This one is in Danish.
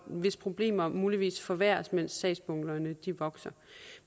hvis problemer muligvis forværres mens sagsbunkerne vokser